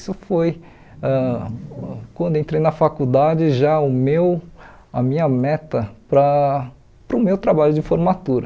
Isso foi, ãh quando eu entrei na faculdade, já o meu a minha meta para para o meu trabalho de formatura.